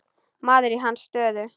Maður í hans stöðu.